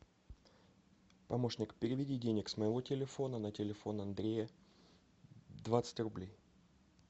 помощник переведи денег с моего телефона на телефон андрея двадцать рублей